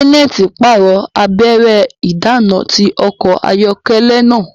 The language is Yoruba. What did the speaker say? Janet parọ abẹrẹ idana ti ọkọ ayọkẹlẹ náà